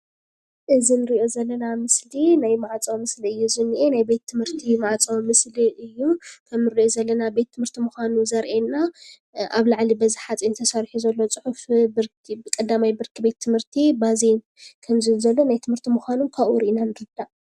እዚ እንሪኦ ዘለና ምስሊ ናይ ማዕፆ ምስሊ እዩ ዝንሄ፡፡ ናይ ቤት ትምህርት ማዕፆ ምስሊ እዩ፡፡ ከምንሪኦ ዘለና ቤት ትምህርቲ ምኳኑ ዘርእየና አብ ላዕሊ በዚ ሓፂን ተሰሪሑ ዘሎ ፅሑፍ 1ይ ብርኪ ቤት ትምህርቲ ባዜን ከምዝብል ዘሎ ናይ ትምህርቲ ምኳኑ ካብኡ ሪኢና ንርዳእ፡፡